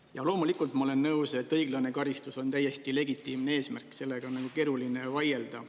Ja loomulikult ma olen nõus, et õiglane karistus on täiesti legitiimne eesmärk, sellega on nagu keeruline vaielda.